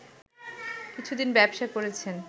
কিছুদিন ব্যবসা করেছেন